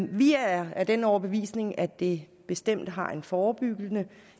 vi er af den overbevisning at det bestemt har en forebyggende